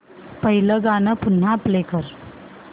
पहिलं गाणं पुन्हा प्ले कर